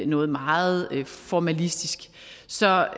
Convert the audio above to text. noget meget formalistisk så jeg